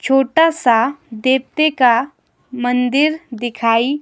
छोटा सा देवते का मंदिर दिखाई--